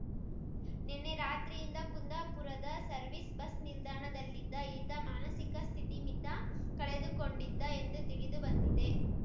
ನಿನ್ನೆ ರಾತ್ರಿ ಯಿಂದ ಕುಂದಾಪುರದ ಸರ್ವಿಸ್ ಬಸ್ ನಿಲ್ದಾಣದಲ್ಲಿದ್ದ ಈತ ಮಾನಸಿಕ ಸ್ಥಿತಿಮಿತ ಕಳೆದುಕೊಂಡಿದ್ದ ಎಂದು ತಿಳಿದು ಬಂದಿದೆ